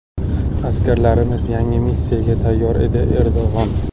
Askarlarimiz yangi missiyaga tayyor”, dedi Erdo‘g‘on.